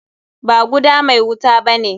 Ba guda mai wuta bane.